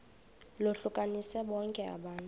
lohlukanise bonke abantu